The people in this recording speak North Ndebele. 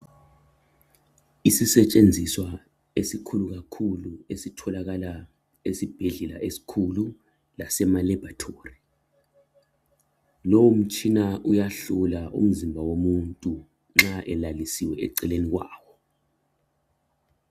Isisetshenziswa esikhulu kakhulu esitholakala esibhedlela esikhulu lasemalaboratory. Lowo mtshina uyahlola umzimba womuntu nxa elalisiwe eceleni kwawo.